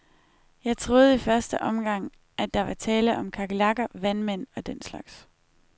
Jeg troede i første omgang, at der var tale om kakelakker, vandmænd og den slags.